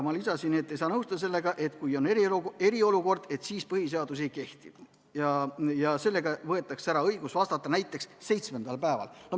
Ma lisasin, et ei saa nõustuda sellega, et kui on eriolukord, siis põhiseadus ei kehti ja sellega võetakse ära õigus vastata näiteks seitsmendal päeval.